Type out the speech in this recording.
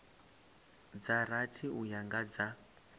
dza rathi uya kha dza